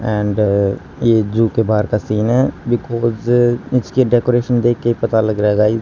And ये zoo के बाहर का सीन है बीकॉज इसके डेकोरेशन देख के ही पता लग रहा है गाइज ।